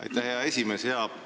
Aitäh, hea esimees!